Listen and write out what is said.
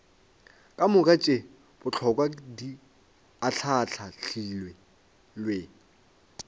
kamoka tše bohlokwa di ahlaahlilwe